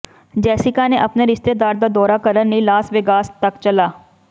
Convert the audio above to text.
Jessica ਨੇ ਆਪਣੇ ਰਿਸ਼ਤੇਦਾਰ ਦਾ ਦੌਰਾ ਕਰਨ ਲਈ ਲਾਸ ਵੇਗਾਸ ਤੱਕ ਚਲਾ